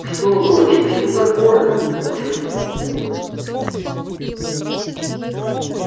что доча что такое всполошился папулька